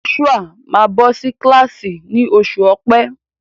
Joshua máa bọ́ sí kílàsì ni oṣù ọ̀pe.